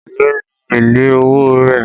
Èló ni èlé owó rẹ̀?